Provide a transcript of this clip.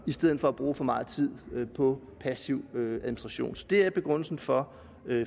i stedet for at bruge for meget tid på passiv administration så det er begrundelsen for